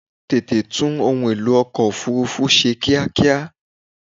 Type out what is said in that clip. Tètè tún ohun èlò ọkọ̀ òfúrúfú ṣe kíákíá!